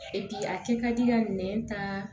E bi a kɛ ka di ka nɛn ta